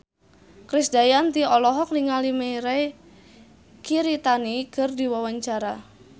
Krisdayanti olohok ningali Mirei Kiritani keur diwawancara